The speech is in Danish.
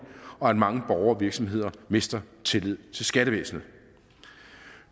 og at mange borgere og virksomheder mister tillid til skattevæsenet